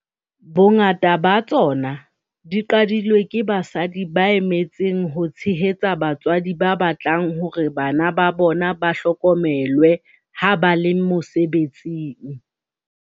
Bongata ba tsona di qadilwe ke basadi ba me tseng ho tshehetsa batswadi ba batlang hore bana ba bona ba hlokomelwe ha ba le mose betsing.